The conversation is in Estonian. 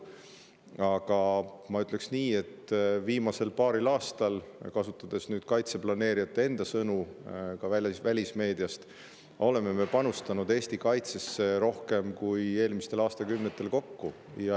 Aga ma ütleksin nii, kasutades kaitseplaneerijate endi sõnu ja ka välismeediat, et viimasel paaril aastal oleme panustanud Eesti kaitsesse rohkem kui eelmistel aastakümnetel kokku.